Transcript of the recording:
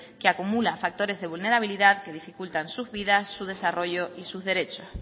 que acumula factores de vulnerabilidad que dificultan sus vidas su desarrollo y sus derechos